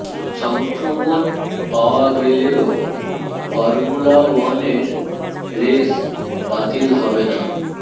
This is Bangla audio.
সংক্রমণ পাওয়া গেলেও ফর্মুলা ওয়ানের রেস বাতিল হবে না